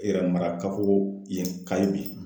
E yɛrmagan kafoo yen ka ye bi